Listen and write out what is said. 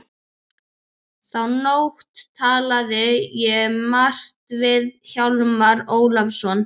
Þá nótt talaði ég margt við Hjálmar Ólafsson.